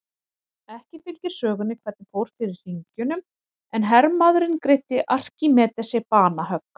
Ekki fylgir sögunni hvernig fór fyrir hringjunum en hermaðurinn greiddi Arkímedesi banahögg.